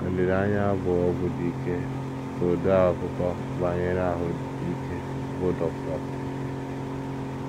“ Olileanya bụ ọgwụ dị ike, ” ka odeakụkọ banyere ahụ́ ike, bụ́ Dr.